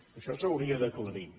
això s’hauria d’aclarir